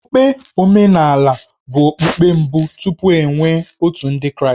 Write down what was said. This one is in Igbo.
Okpukpe omenala bụ okpukpe mbụ tupu e nwee Otù Ndị Kraịstị.